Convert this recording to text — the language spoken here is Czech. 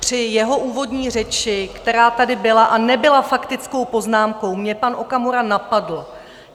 Při jeho úvodní řeči, která tady byla, a nebyla faktickou poznámkou, mě pan Okamura napadl.